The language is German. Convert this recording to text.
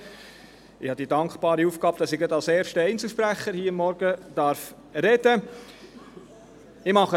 Ich habe die dankbare Aufgabe, dass ich hier gerade als erster Einzelsprecher am Morgen sprechen darf.